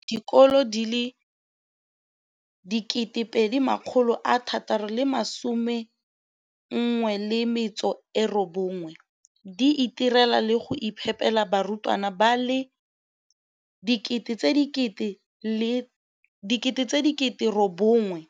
o tlhalositse gore dikolo di le 20 619 di itirela le go iphepela barutwana ba le 9 032 622